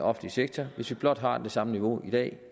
offentlige sektor hvis vi blot har det samme niveau i dag